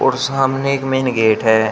सामने एक main gate हैं।